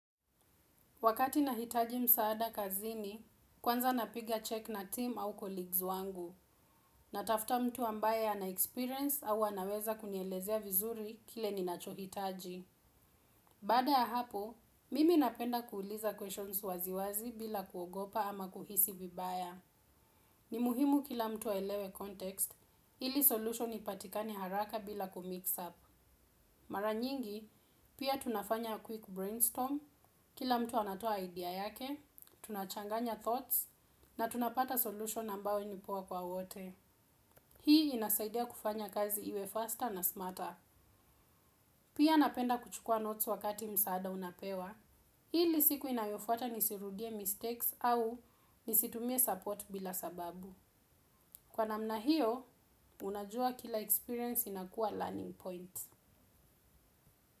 Wakati nahitaji msaada kazini, kwanza napiga check na team au colleagues wangu, natafuta mtu ambaye anaexperience au anaweza kunielezea vizuri kile ninachohitaji. Baada ya hapo, mimi napenda kuuliza questions waziwazi bila kuogopa ama kuhisi vibaya. Ni muhimu kila mtu aelewe context, ili solution ipatikane haraka bila kumix up. Mara nyingi, pia tunafanya quick brainstorm, kila mtu anatoa idea yake, tunachanganya thoughts, na tunapata solution ambayo ni poa kwa wote. Hii inasaidia kufanya kazi iwe faster na smarter. Pia napenda kuchukua notes wakati msaada unapewa. Ili siku inayofuata nisirudie mistakes au nisitumie support bila sababu. Kwa namna hiyo, unajua kila experience inakuwa learning points.